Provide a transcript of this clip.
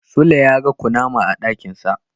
Sule yaga kunama a dakinsa.